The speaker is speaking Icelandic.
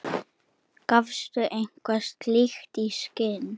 gafstu eitthvað slíkt í skyn?